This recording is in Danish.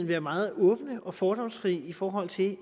være meget åbne og fordomsfri i forhold til